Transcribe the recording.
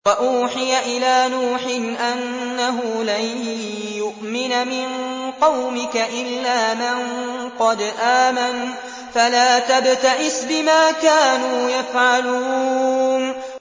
وَأُوحِيَ إِلَىٰ نُوحٍ أَنَّهُ لَن يُؤْمِنَ مِن قَوْمِكَ إِلَّا مَن قَدْ آمَنَ فَلَا تَبْتَئِسْ بِمَا كَانُوا يَفْعَلُونَ